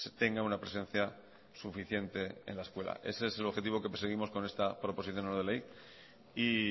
tenga una presencia suficiente en la escuela ese es el objetivo que perseguimos con esta proposición no de ley y